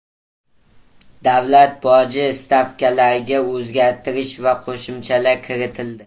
Davlat boji stavkalariga o‘zgartirish va qo‘shimchalar kiritildi.